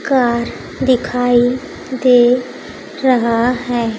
Car दिखाई दे रहा है।